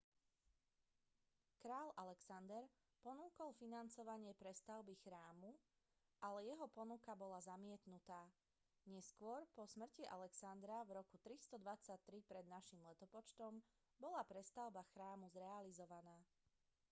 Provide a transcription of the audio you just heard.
kráľ alexander ponúkol financovanie prestavby chrámu ale jeho ponuka bola zamietnutá neskôr po smrti alexandra v roku 323 pred n l bola prestavba chrámu zrealizovaná